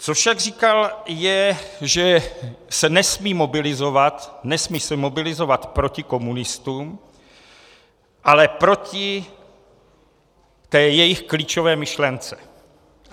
Co však říkal, je, že se nesmí mobilizovat, nesmí se mobilizovat proti komunistům, ale proti té jejich klíčové myšlence.